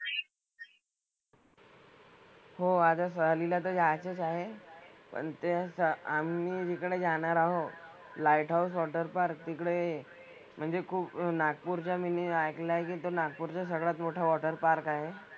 हो आता सहलीला तर जायचंच आहे. पण ते स आम्ही जिकडे जाणार आहोत light house water park तिकडे म्हणजे खूप नागपूरच्या मी नी ऐकलंय की ते नागपूरचं सगळ्यात मोठं water park आहे.